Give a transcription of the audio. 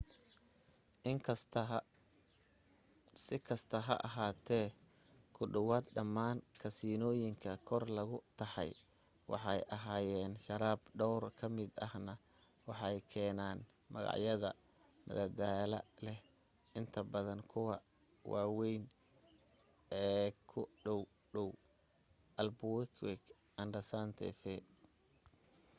si kastaba ha ahaatee ku dhowaad dhammaan kasiinooyinka kor lagu taxay waxay hayaan sharaab dhowr ka mid ahna waxay keenaan magacyada madadaalada leh inta badan kuwa waawayn eek u dhowdhow albuquerque and santa fe